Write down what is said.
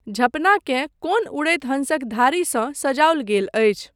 झँपनाकेँ कोन उड़ैत हंसक धारीसँ सजाओल गेल अछि।